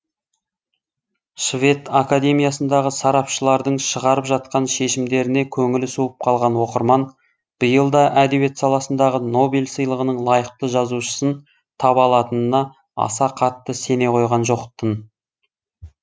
швед академиясындағы сарапшылардың шығарып жатқан шешімдеріне көңілі суып қалған оқырман биыл да әдебиет саласындағы нобель сыйлығының лайықты жазушысын таба алатынына аса қатты сене қойған жоқ тын